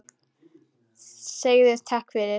Segðu takk fyrir.